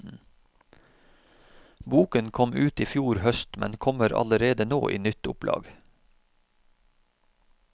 Boken kom ut i fjor høst, men kommer allerede nå i nytt opplag.